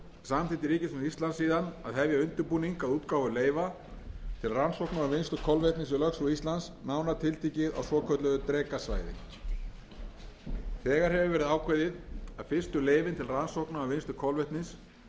samþykkti ríkisstjórn íslands síðan að hefja undirbúning að útgáfu leyfa til rannsókna og vinnslu kolvetnis í lögsögu íslands nánar tiltekið á svokölluðu drekasvæði þegar hefur verið ákveðið að fyrstu leyfin til rannsókna á vinnslu kolvetnis verði boðin út fljótlega eftir áramót það frumvarp sem hér er kynnt er lagt